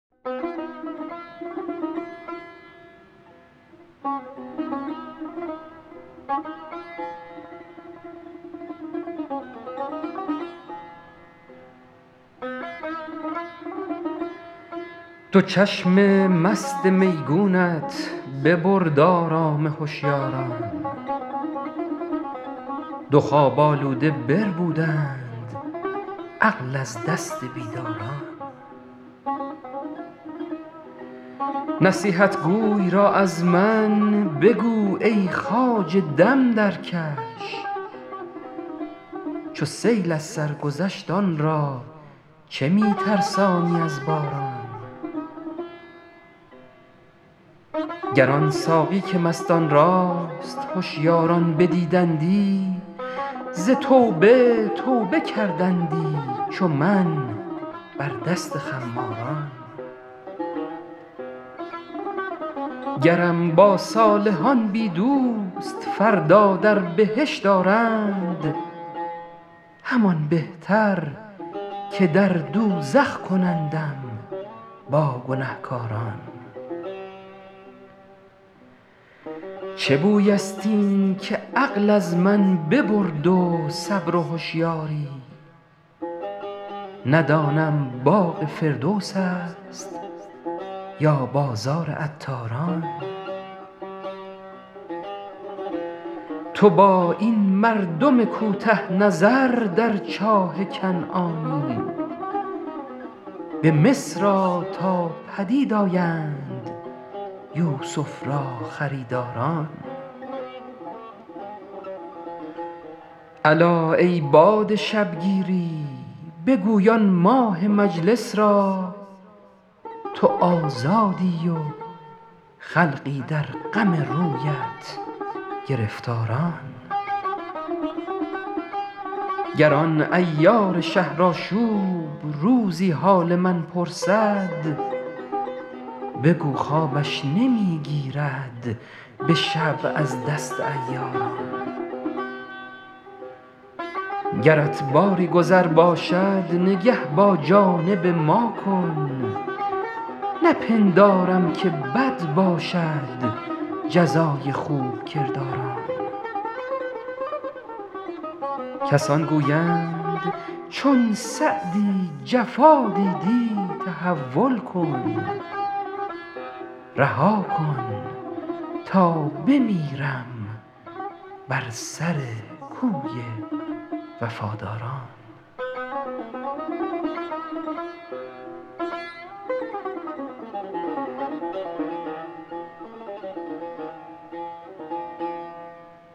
دو چشم مست میگونت ببرد آرام هشیاران دو خواب آلوده بربودند عقل از دست بیداران نصیحتگوی را از من بگو ای خواجه دم درکش چو سیل از سر گذشت آن را چه می ترسانی از باران گر آن ساقی که مستان راست هشیاران بدیدندی ز توبه توبه کردندی چو من بر دست خماران گرم با صالحان بی دوست فردا در بهشت آرند همان بهتر که در دوزخ کنندم با گنهکاران چه بوی است این که عقل از من ببرد و صبر و هشیاری ندانم باغ فردوس است یا بازار عطاران تو با این مردم کوته نظر در چاه کنعانی به مصر آ تا پدید آیند یوسف را خریداران الا ای باد شبگیری بگوی آن ماه مجلس را تو آزادی و خلقی در غم رویت گرفتاران گر آن عیار شهرآشوب روزی حال من پرسد بگو خوابش نمی گیرد به شب از دست عیاران گرت باری گذر باشد نگه با جانب ما کن نپندارم که بد باشد جزای خوب کرداران کسان گویند چون سعدی جفا دیدی تحول کن رها کن تا بمیرم بر سر کوی وفاداران